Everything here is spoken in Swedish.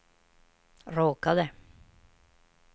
råkade